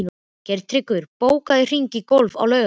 Geirtryggur, bókaðu hring í golf á laugardaginn.